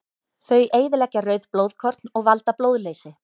Þau eyðileggja rauð blóðkorn og valda blóðleysi.